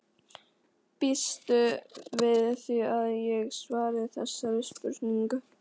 Býstu við því að ég svari þessari spurningu?